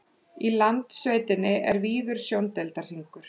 í landsveitinni er víður sjóndeildarhringur